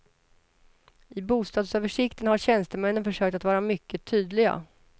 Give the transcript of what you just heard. I bostadsöversikten har tjänstemännen försökt att vara mycket tydliga.